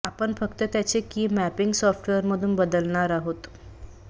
आपण फक्त त्याचे की मॅपींग सॉफ्टवेअर मधुन बदलणार आहोत